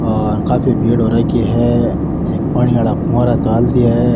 और काफी भीड़ हो रखी है एक पानी वाला फव्वारा चाल रिया है।